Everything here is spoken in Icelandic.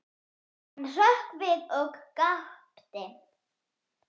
Hann hrökk við og gapti.